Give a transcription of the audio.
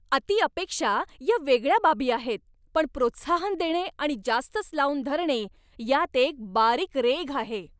अति अपेक्षा या वेगळ्या बाबी आहेत, पण प्रोत्साहन देणे आणि जास्तच लावून धरणे यात एक बारीक रेघ आहे.